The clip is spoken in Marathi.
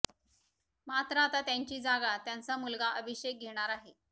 मात्र आता त्यांची जागा त्यांचा मुलगा अभिषेक घेणार आहे